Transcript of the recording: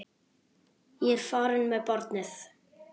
Ég er farin með barnið!